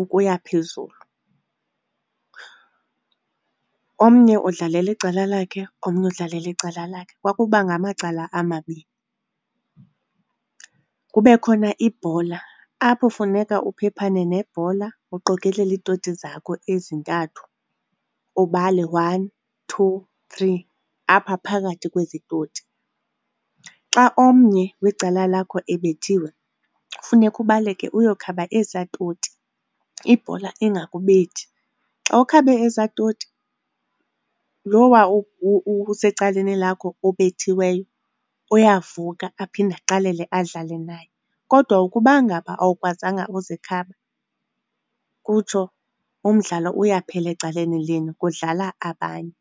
ukuya phezulu, omnye udlalela icala lakhe, omnye udlalela icala lakhe. Kwakuba ngamacala amabini. Kube khona ibhola apho funeka uphephane nebhola, uqokelele iitoti zakho ezintathu, ubale one, two, three apha phakathi kwezi toti. Xa omnye wecala lakho ebethiwe, kufuneka ubaleke uyokhaba ezaa toti, ibhola ingakubethi. Xa ukhabe ezaa toti lowa usecaleni lakho obethiweyo uyavuka aphinde aqalele adlale naye. Kodwa ukuba ngaba awukwazanga uzikhaba kutsho umdlalo uyaphela ecaleni lenu, kudlala abanye.